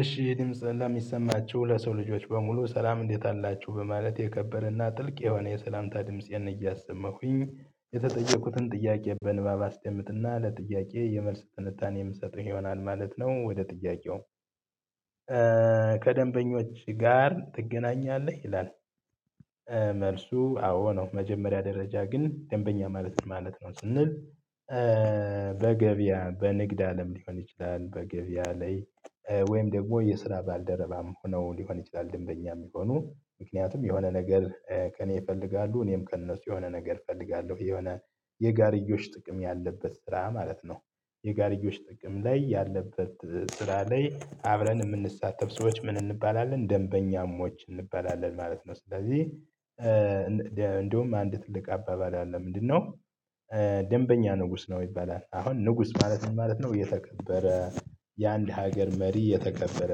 እሺ የድምጽ ላሚሰማችሁ ለሰው ልጆች በሙሉ ሰላም እንዴት አላችሁ በማለት የከበረና ጥልቅ የሆነ የሰላምታ ድምጽ እያሰመኩኝ የተጠየቁትን ጥያቄ በንባብ አስደምጥና ለጥያቄ የመልስ ትንታኔ የምሰጠው ይሆናል ማለት ነው። ወደ ጥያቄው? ከደንበኞች ጋር ትገናኛለህ ይላል? መልሱ አዎ ነው መጀመሪያ ደረጃ ግን ደንበኛ ማለት ነው ስንል። በገበያ በንግድ አለም ሊሆን ይችላል በገበያ ላይ ወይም ደግሞ የስራ ባልደረባም ሆነው ሊሆን ይችላል ደንበኛ የሚሆኑ ምክንያቱም የሆነ ነገር ከእኔ ይፈልጋሉ እኔም ከእነሱ የሆነ ነገር እፈልጋለሁ የሆነ የጋርዮሽ ጥቅም ያለበት ስራ ማለት ነው። የጋሪዎች ጥግም ላይ ያለበት ስራ ላይ አብረን የምንሳተፍ ሰዎች ምን እንባላለን ደንበኛሞች እንባላለን ማለት ነው። ስለዚህ እንደውም አንድ ትልቅ አባባል አለ ምንድነው? ደንበኛ ንጉስ ነው ይባላል። አሁን ንጉስ ማለት ማለት ነው የተከበረ የአንድ ሀገር መሪ የተከበረ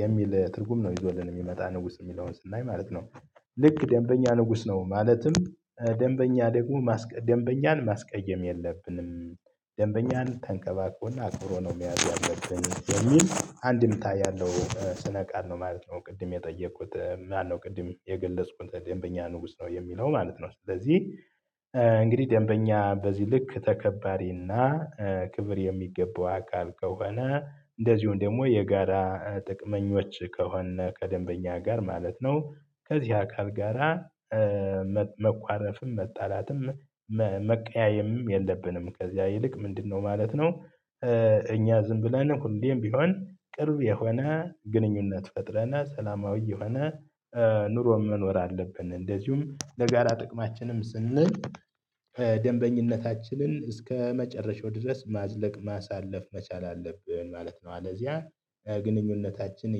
የሚል ትርጉም ነው ይዞልን የሚመጣ ንጉስ የሚለውን ስናይ ማለት ነው። ልክ ደንበኛ ንጉስ ነው ማለትም ደንበኛ ደግሞ ደንበኛን ማስቀየም የለብንም ደንበኛን ተንከባክቦና አትኩሮ ነው የሚያደርገኝ የሚል አንድምታ ያለው ስነ ቃል ነው ማለት ነው። ቅድም የጠየቁት ማነው ቅድም የገለጽኩት ደንበኛ ንጉስ ነው የሚለው ማለት ነው። ስለዚህ እንግዲህ ደንበኛ በዚህ ልክ ተከባሪና ክብር የሚገባው አካል ከሆነ እንደዚሁም ደግሞ የጋራ ጥቅመኞች ከሆነ ከደንበኛ ጋር ማለት ነው ከዚህ አካል ጋራ። መኳረፍም መጣላትም መቀያየምም የለብንም ከዚያ ይልቅ ምንድነው ማለት ነው? እኛ ዝም ብለን ሁሌም ቢሆን ቅርብ የሆነ ግንኙነት ፈጥረና ሰላማዊ የሆነ ኑሮ መኖር አለብን። እንደዚሁም ለጋራ ጥቅማችንም ስንል ደንበኝነታችንን እስከመጨረሻው ድረስ ማዝለቅ ማሳለፍ መቻል አለብን ማለት ነው። አለዚያ ግንኙነታችን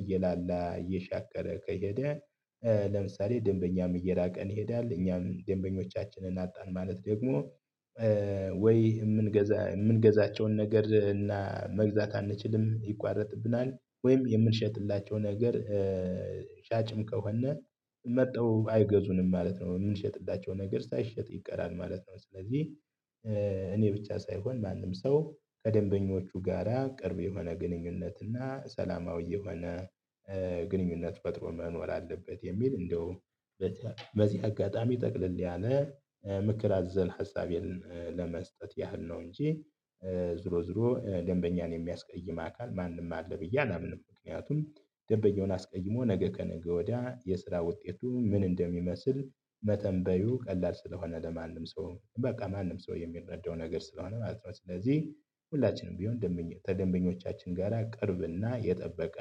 እየላላ እየሻከረ ከሄደ። ለምሳሌ ደንበኛም እየራቀን ይሄዳል እኛም ደንበኞቻችንን አጣን ማለት ደግሞ። ወይ የምንገዛ የምንገዛቸውን ነገር እና መግዛት አንችልም ይቋረጥብናል ወይም የምንሸጥላቸው ነገር። ሻጭም ከሆነ መጥተው አይገዙንም ማለት ነው። የምንሸጥላቸው ነገር ሳይሸጥ ይቀራል ማለት ነው። ስለዚህ እኔ ብቻ ሳይሆን ማንም ሰው ከደንበኞቹ ጋራ ቅርብ የሆነ ግንኙነት እና ሰላማዊ የሆነ ግንኙነት ፈጥሮ መኖር አለበት። የሚል እንደው በዚህ አጋጣሚ ጠቅልል ያለ ምክር አዘል ሀሳቤን ለመስጠት ያህል ነው እንጂ ዝሮ ዝሮ ደንበኛን የሚያስቀይም አካል ማንም አለ ብዬ አላምንም። ምክንያቱም ደንበኛውን አስቀይሞ ነገ ከነገ ወዲያ የስራ ውጤቱ ምን እንደሚመስል መተንበዩ ቀላል ስለሆነ ለማንም ሰው በቃ ማንም ሰው የሚረዳው ነገር ስለሆነ ማለት ነው። ስለዚህ ሁላችንም ቢሆን ደንበኞቻችን ጋራ ቅርብና የጠበቀ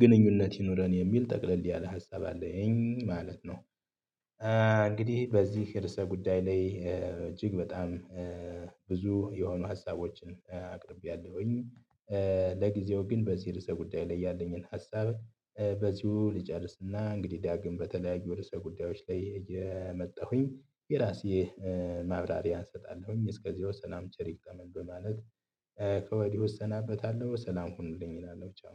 ግንኙነት ይኑረን የሚል ጠቅለል ያለ ሀሳብ አለኝ ማለት ነው። እንግዲህ በዚህ ርዕሰ ጉዳይ ላይ እጅግ በጣም ብዙ የሆኑ ሀሳቦችን አቅርቤያለሁኝ። ለጊዜው ግን በዚህ ርዕሰ ጉዳይ ላይ ያለኝን ሀሳብ በዚሁ ልጨርስና እንግዲህ ዳግም በተለያዩ ወደ ርዕሰ ጉዳዮች ላይ የመጣሁኝ የራሴ ማብራሪያ እሰጣለሁኝ። እስከዚህ ሰናይ ቸር ተመኘው ማለት ከወዲህ እሰናበታለሁ ሰላም ሁንልኝ እላለሁ ቻው።